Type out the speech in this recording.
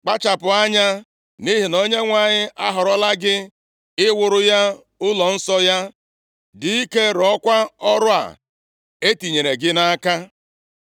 Kpachapụ anya, nʼihi na Onyenwe anyị ahọrọla gị iwuru ya ụlọnsọ ya. Dị ike, rụọkwa ọrụ a e tinyere gị nʼaka.”